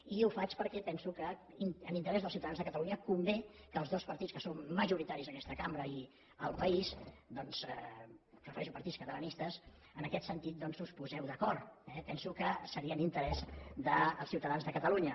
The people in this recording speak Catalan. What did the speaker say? i ho faig perquè penso que en interès dels ciutadans de catalunya convé que els dos partits que són majoritaris en aquesta cambra i al país doncs em refereixo a partits catalanistes en aquest sentit us poseu d’acord eh penso que seria en interès dels ciutadans de catalunya